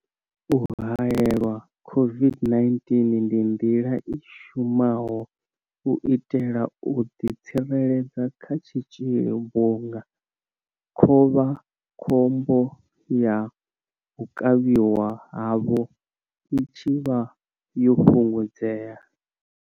U haelelwa COVID-19 ndi nḓila i shumaho u itela u ḓitsireledza kha tshitzhili vhunga khovha khombo ya u kavhiwa havho i tshi vha yo fhungudzea.